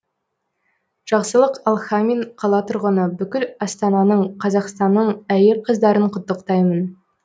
жақсылық алхамин қала тұрғыны бүкіл астананың қазақстанның әйел қыздарын құттықтаймын